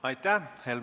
Aitäh!